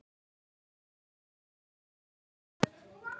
Önd þau né áttu